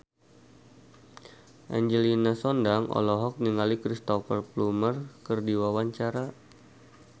Angelina Sondakh olohok ningali Cristhoper Plumer keur diwawancara